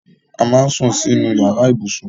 A máà ń sún sínú yàrá ibùsùn